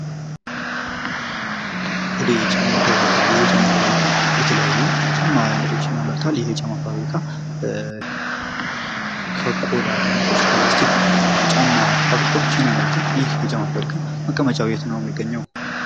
ሆዴ የጫማ ፋብሪካ ይህ የጫማ ፋብሪካ የተለያዩ የጫማ አይነቶችን ያመርታል። ከቆዳ ተነስቶ እስከ ላስቲክ ፋፍሪካዎችን ያመርታል። ይሄ የጫማ ፋብሪካ መቀመጫው የት ነው ሚገኘው?